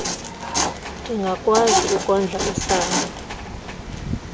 ndingakwazi ukondla usana